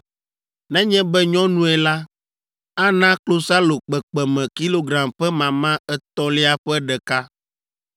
Nenye be nyɔnue la, ana klosalo kpekpeme kilogram ƒe mama etɔ̃lia ƒe ɖeka.